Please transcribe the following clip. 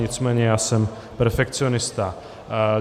Nicméně já jsem perfekcionista.